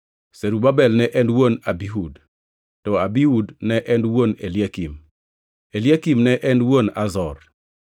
Zerubabel ne en wuon Abihud, to Abihud ne en wuon Eliakim. Eliakim ne en wuon Azor,